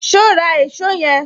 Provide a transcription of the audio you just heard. So ra èsó yen